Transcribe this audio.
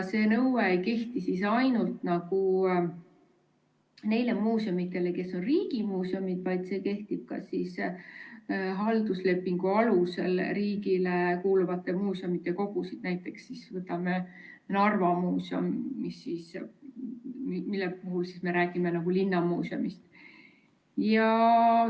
See nõue ei kehti ainult neile muuseumidele, mis on riigimuuseumid, vaid see kehtib ka halduslepingu alusel riigile kuuluvate muuseumide kogudele, näiteks Narva Muuseumile, millest me räägime kui linnamuuseumist.